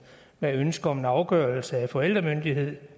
med ønske om en afgørelse af forældremyndighed